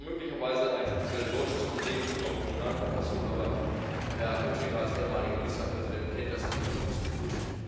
Das ist möglicherweise ein speziell deutsches Problem unserer Kommunalverfassungen, aber Herr Oettinger als ehemaliger Ministerpräsident kennt das Thema nur zu gut.